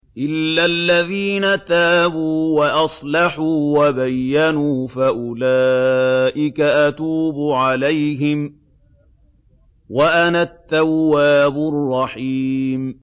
إِلَّا الَّذِينَ تَابُوا وَأَصْلَحُوا وَبَيَّنُوا فَأُولَٰئِكَ أَتُوبُ عَلَيْهِمْ ۚ وَأَنَا التَّوَّابُ الرَّحِيمُ